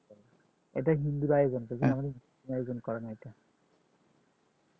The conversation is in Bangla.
এটা হিন্দুর আয়োজন করে আমাদের মধ্যে আয়োজন করে না এটা